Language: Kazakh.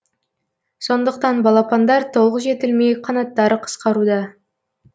сондықтан балапандар толық жетілмей қанаттары қысқаруда